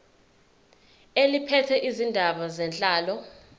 eliphethe izindaba zenhlalo